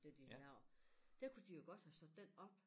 Det de har lavet der kunne de jo godt have sat den op